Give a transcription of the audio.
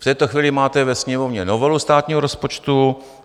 V této chvíli máte ve Sněmovně novelu státního rozpočtu.